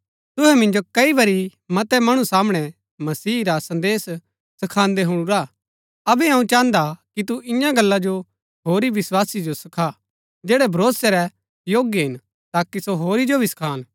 तुहै मिन्जो कई बरी मतै मणु सामणै मसीह रा संदेश सखान्दै हुणुरा हा अबै अऊँ चाहन्दा कि तू इन्या गल्ला जो होरी विस्वासी जो सखा जैड़ै भरोसै रै योग्य हिन ताकि सो होरी जो भी सखान